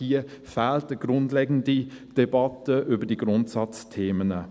– Hier fehlt eine grundlegende Debatte über diese Grundsatzthemen.